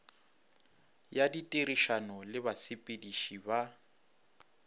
ya ditirišano le basepediši ba